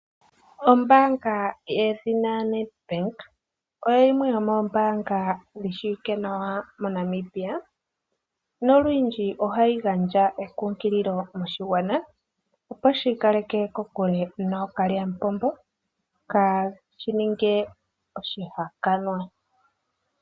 Ombaanga yedhina Nedbank oyo yimwe yomombaanga yishiwike nawa moNamibia na olundji ohayi gandja ekunkililo moshigwana opo shiikaleke kokule nookalyampombo kaashi ninge oshihakanwa.